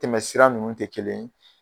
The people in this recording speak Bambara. Tɛmɛ sira nunnu tɛ kelen ye.